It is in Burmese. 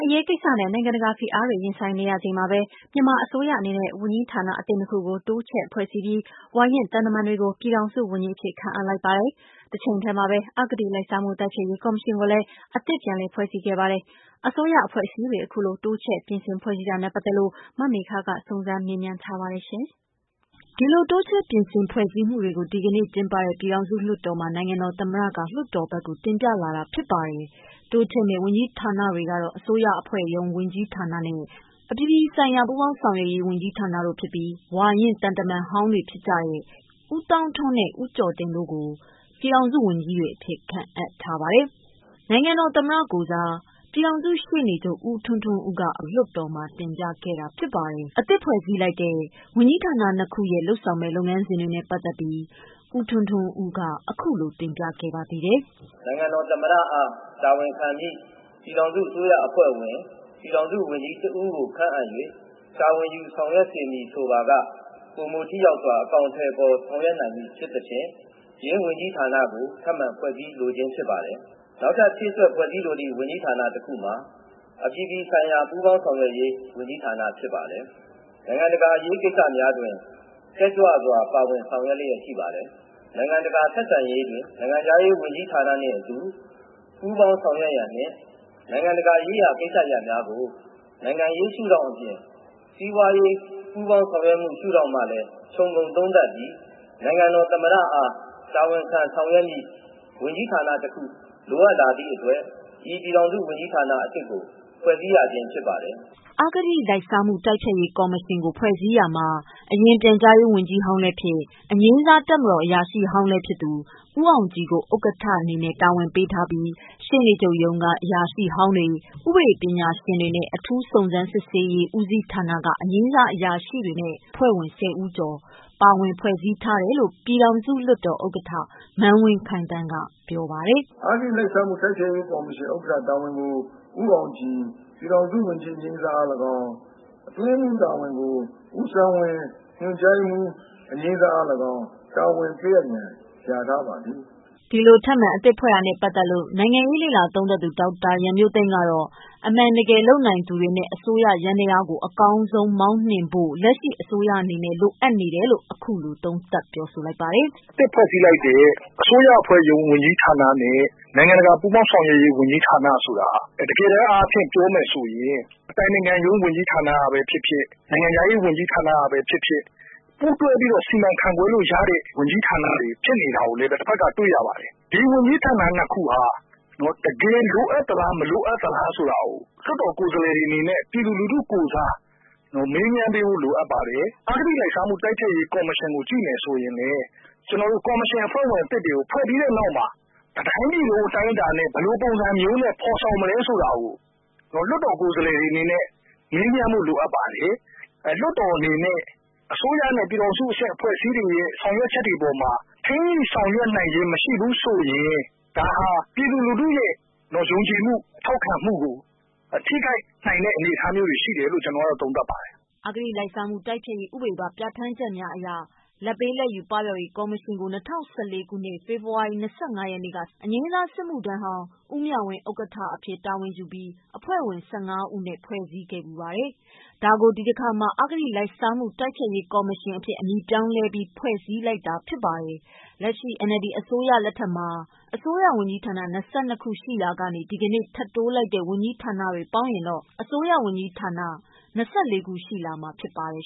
အရေးကိစ္စနဲ့ နိုင်ငံတကာဖိအားတွေ ရင်ဆိုင်နေရချိန်မှာပဲ မြန်မာအစိုးရအနေနဲ့ ဝန်ကြီးဌာန အသစ်နှစ်ခုကို တိုးချဲ့ဖွဲ့စည်းပြီး၊ ဝါရင့်သံတမန်တွေကို ပြည်ထောင်စုဝန်ကြီးအဖြစ် ခန့်အပ်လိုက်ပါတယ်။ တချိန်တည်းမှာပဲ အဂတိလိုက်စားမှုတိုက်ဖျက်ရေး ကော်မရှင်ကိုလည်း အသစ် ပြန်လည်ဖွဲ့စည်းခဲ့ပါတယ်။ အစိုးရ အဖွဲ့အစည်းတွေ အခုလို တိုးချဲ့ပြင်ဆင်ဖွဲ့စည်းတာနဲ့ပတ်သက်လို့ မမေခက စုံစမ်းမေးမြန်းထားပါတယ်။ အခုလို တိုးချဲ့ပြင်ဆင်ဖွဲ့စည်းမှုတွေကို ဒီကနေ့ ကျင်းပတဲ့ ပြည်ထောင်စု လွှတ်တော်မှာ နိုင်ငံတော်သမ္မတ က လွှတ်တော်ဘက်ကိုတင်ပြလာတာဖြစ်ပါတယ်။ တိုးချဲ့မယ့် ဝန်ကြီးဌာနတွေက အစိုးရ အဖွဲ့ရုံး ဝန်ကြီးဌာနနဲ့ အပြည်ပြည်ဆိုင်ရာ ပူးပေါင်းဆောင်ရွက်ရေး ဝန်ကြီးဌာနတို့ဖြစ်ပြီး ဝါရင့်သံတမန်ဟောင်းတွေဖြစ်ကြတဲ့ ဦးသောင်းထွန်းနှင့် ဦးကျော်တင်တို့က ပြည်ထောင်စုဝန်ကြီးတွေအဖြစ် ခန့်ထားပါတယ်။ နိုင်ငံတော်သမ္မတကိုယ်စား ပြည်ထောင်စုရှေ့နေချုပ် ဦးထွန်းထွန်းဦးက လွှတ်တော်မှာတင်ပြခဲ့တာပါ။ အသစ်ဖွဲ့စည်းလိုက်တဲ့ ဝန်ကြီးဌာန ၂ခုရဲ့လုပ်ဆောင်မယ့် လုပ်ငန်းစဉ်တွေနဲ့ပတ်သတ်ပြီး ဦးထွန်းထွန်းဦးက အခုလို တင်ပြခဲ့ပါသေးတယ်။ "နိုင်ငံတော် သမ္မတအား တာဝန်ခံမည့် ပြည်ထောင်စု အစိုးရအဖွဲ့ဝင် ပြည်ထောင်စု ဝန်ကြီးတဦးကို ခန့်အပ်၍ တာဝန်ယူ ဆောင်ရွက်စေမည်ဆိုပါက ပိုမိုထိရောက်စွာ အကောင်အထည်ဖော်ဆောင်ရွက်နိုင်မည် ဖြစ်သဖြင့် ဝန်ကြီးဌာနကို ထပ်မံဖွဲ့စည်းလိုခြင်းဖြစ်ပါတယ်။ နောက်ထပ် ဖြည့်စွက်ဖွဲ့စည်းလိုသည့် ဝန်ကြီးဌာန တခုမှာ အပြည်ပြည်ဆိုင်ရာ ပူးပေါင်းဆောင်ရွက်ရေး ဝန်ကြီးဌာန တခုဖြစ်ပါတယ်။ နိုင်ငံတကာ အရေးကိစ္စများတွင် တက်ကြွစွာ ပါဝင်ဆောင်ရွက်လျက်ရှိပါတယ်။ နိုင်ငံတကာ ဆက်ဆံရေးတွင် နိုင်ငံခြားရေး ဝန်ကြီးဌာနနှင့်အတူ ပူးပေါင်းဆောင်ရွက်ရန်နှင့် နိုင်ငံတကာ ရေးရာကိစ္စရပ်များကို နိုင်ငံရေးရှုထောင့်အပြင် စီးပွားရေး ပူးပေါင်းဆောင်ရွက်မှု ရှုထောင့်မှလည်း ခြုံငုံသုံးသပ်ပြီး နိုင်ငံတော် သမ္မတအား တာဝန်ခံဆောင်ရွက်မည့် ဝန်ကြီးဌာနတခု လိုအပ်လာသည့်အတွက် ၎င်း ဝန်ကြီးဌာန အသစ်ကို ဖွဲ့စည်းရခြင်းဖြစ်ပါတယ်။" အဂတိလိုက်စားမှု တိုက်ဖျက်ရေး ကော်မရှင် ကိုဖွဲ့စည်းရာမှာ အရင် ပြန်ကြားရေးဝန်ကြီးဟောင်းလည်းဖြစ် အငြိမ်းစားတပ်မတော်အရာရှိဟောင်းဖြစ်သူ ဦးအောင်ကြည်ကို ဥက္ကဌ တာဝန်ပေးထားပြီး ရှေ့နေချုပ်ရုံးမှ အရာရှိဟောင်းများ၊ ဥပဒေပညာရှင်များ၊ အထူး စုံးစမ်းစစ်ဆေးရေး ဦးစီးဌာနမှ အငြိမ်းစား အရာရှိများနဲ့ အဖွဲ့ဝင် ၁၀ဦးကျော်နဲ့ဖွဲ့စည်းထား တယ်လို့ ပြည်ထောင်စုလွှတ်တော်ဥက္ကဌ မန်းဝင်းခိုင်သန်းက ပြောပါတယ်။ "အဂတိလိုက်စားမှု တိုက်ဖျက်ရေး ကော်မရှင်ဥက္ကဌတာဝန်ကို ဦးအောင်ကြည် ပြည်ထောင်စု ဝန်ကြီးအငြိမ်းစားအား၎င်း၊ အတွင်းရေးမှူးတာဝန်ကို ဦးဆန်းဝင်း ညွှန်ကြားရေးမှူး အငြိမ်းသားအား၎င်း တာဝန်ပေးအပ်ရန် လျာထားပါသည်။" ဒီလိုထပ်မံအသစ်ဖွဲ့တာနဲ့ပတ်သတ်လို့ နိုင်ငံရေးလေ့လာသုံးသပ်သူ ဒေါက်တာရန်မျိုးသိမ်းကတော့ အမှန်တကယ်လုပ်နိုင်သူတွေနဲ့ အစိုးရယန္တယားကို အကောင်းဆုံးမောင်းနှင်နိုင်ဖို့ လက်ရှိအစိုးရအနေနဲ့ လိုအပ်နေတယ်လို့ ခုလို သုံးသပ်ပါတယ်။ "အသစ်ဖွဲ့စည်းလိုက်တဲ့ အစိုးရအဖွဲ့ရုံး ဝန်ကြီးဌာန နဲ့ နိုင်ငံတကာ ပူးပေါင်းဆောင်ရွက်ရေး ဝန်ကြီးဌာနဆိုတာက တကယ်တန်းအားဖြင့် ပြောမယ်ဆိုရင် အတိုင်ပင်ခံရုံး ဝန်ကြီးဌာနကပဲ ဖြစ်ဖြစ်၊ နိုင်ငံခြားရေးဝန်ကြီးဌာနကပဲ ဖြစ်ဖြစ်၊ ပူးတွဲပြီးတော့ စီမံခန့်ခွဲလို့ရတဲ့ ဝန်ကြီးဌာနတွေ ဖြစ်နေတာကိုလည်း တဖက်က တွေ့ရပါတယ်။ ဒီဝန်ကြီးဌာန ၂ ခုဟာ တကယ် လိုအပ်သလား မလိုအပ်သလားဆိုတာကို လွတ်တော်ကိုယ်စားလှယ်တွေအနေနဲ့ ပြည်သူလူထုကိုယ်စား မေးမြန်းပေးဖို့ လိုအပ်ပါတယ်။ အဂတိလိုက်စားမှု တိုက်ဖျက်ရေးကော်မရှင်ကို ကြည့်မယ်ဆိုရင်လည်း ကျနော်တို့ ကော်မရှင်အဖွဲ့ဝင်သစ်တွေကို ဖွဲ့ပြီးတဲ့နောက်မှာ တတိုင်းပြည်လုံးအတိုင်းအတာနဲ့ ဘယ်လိုပုံစံမျိုးနဲ့ ဖော်ဆော်မလဲဆိုတာကို လွတ်တော်ကိုယ်စားလှယ်တွေအနေနဲ့ မေးမြန်းဖို့ လိုအပ်ပါတယ်။ လွှတ်တော်အနေနဲ့ အစိုးရနဲ့ ပြည်ထောင်စုအဆင့်အဖွဲ့အစည်းတွေရဲ့ ဆောင်ရွက်ချက်တွေအပေါ်မှာ ဆောင်ရွက်နိုင်ခြင်းမရှိဘူးဆိုရင် ဒါဟာ ပြည်သူလူထုရဲ့ ယုံကြည်မှု ထောက်ခံမှုကို ထိခိုက်နိုင်တဲ့အနေအထားတွေရှိတယ်လို့ ကျနော်ကတော့ သုံးသပ်ပါတယ်။' အဂတိလိုက်စားမှု တိုက်ဖျက်ရေးဥပဒေပါ ပြဋ္ဌာန်းချက်များအရ လာဘ်ပေးလာဘ်ယူမှုပပျောက်ရေးကော်မရှင်ကို ၂၀၁၄ ခုနှစ် ဖေဖော်ဝါရီ ၂၅ ရက်မှာ စစ်မှုထမ်း(အငြိမ်းစား) ဦးမြဝင်း ဥက္ကဋ္ဌအဖြစ် တာဝန်ယူပြီး အဖွဲ့ဝင် ၁၅ ဦးဖြင့် ဖွဲ့စည်းခဲ့ဖူးပါတယ်။ဒါကို ဒီတခါမှာ အဂတိလိုက်စားမှုတိုက်ဖျက်ရေးကော်မရှင်အဖြစ် အမည်ပြောင်းလဲ ဖွဲ့စည်းတာဖြစ်ပါတယ်။ လက်ရှိ NLD အစိုးရလက်ထက်မှာအစိုးရ ဝန်ကြီးဌာန ၂၂ ခု ရှိရာ ဒီနေ့ ထပ်တိုးလိုက်တဲ့ ဝန်ကြီးဌာနများ ပေါင်းလျှင် အစိုးရ ဝန်ကြီးဌာန ၂၄ ခု ရှိလာမှာဖြစ်ပါ တယ်